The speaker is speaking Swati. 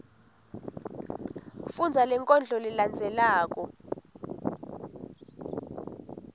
fundza lenkondlo lelandzelako